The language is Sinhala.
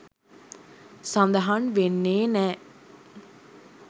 සඳහන් වෙන්නේ නෑ.